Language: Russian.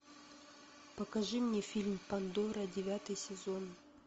покажи мне фильм пандора девятый сезон